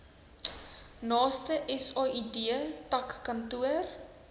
naaste said takkantoor